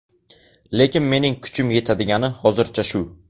Lekin mening kuchim yetadigani hozircha shu.